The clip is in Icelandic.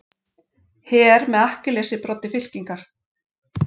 Her með Akkiles í broddi fylkingar.